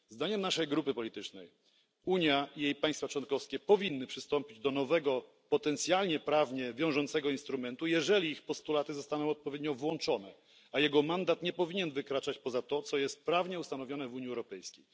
Zdaniem naszej grupy politycznej Unia i jej państwa członkowskie powinny przystąpić do nowego, potencjalnie prawnie wiążącego instrumentu, jeżeli ich postulaty zostaną odpowiednio włączone, a jego mandat nie powinien wykraczać poza to, co jest prawnie ustanowione w Unii Europejskiej.